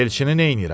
Elçini neyləyirəm?